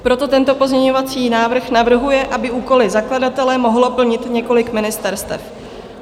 Proto tento pozměňovací návrh navrhuje, aby úkoly zakladatele mohlo plnit několik ministerstev.